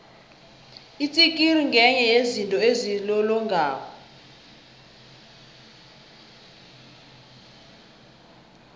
itsikiri ngenye yezinto ezilolongako